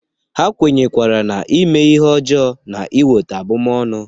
Ha kwenyerekwara na ime ihe ọjọọ na-eweta abụmọnụ.